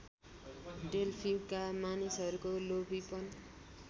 डेल्फीका मानिसहरूको लोभीपन